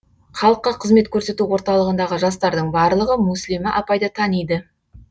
халыққа қызмет көрсету орталығындағы жастардың барлығы мүслима апайды таниды